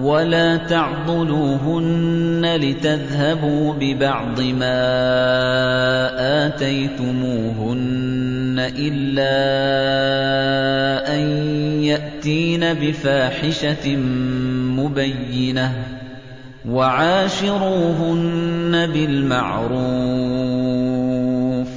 وَلَا تَعْضُلُوهُنَّ لِتَذْهَبُوا بِبَعْضِ مَا آتَيْتُمُوهُنَّ إِلَّا أَن يَأْتِينَ بِفَاحِشَةٍ مُّبَيِّنَةٍ ۚ وَعَاشِرُوهُنَّ بِالْمَعْرُوفِ ۚ